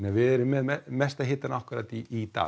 við erum með mestan hitann akkúrat í dag